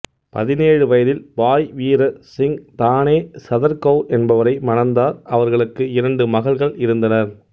பதினேழு வயதில் பாய் வீர் சிங் தானே சதர் கவுர் என்பவரை மணந்தார் அவர்களுக்கு இரண்டு மகள்கள் இருந்தனர்